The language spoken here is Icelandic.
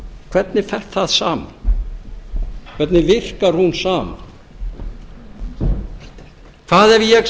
hvernig fer það saman hvernig virkar hún saman hvað ef ég